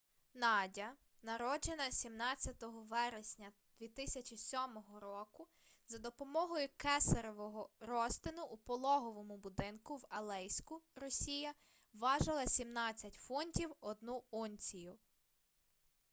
надя народжена 17 вересня 2007 року за допомогою кесаревого розтину у пологовому будинку в алейську росія важила 17 фунтів 1 унцію